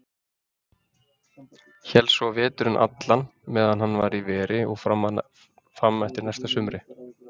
Hélst svo veturinn allan meðan hann var í veri og fram eftir næsta sumri.